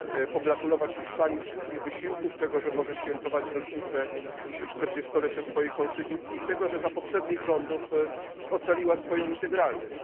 pogratulować Hiszpanii wszystkich wysiłków, tego, że może świętować rocznicę czterdziestolecia swojej konstytucji i tego, że za poprzednich rządów ocaliła swoją integralność.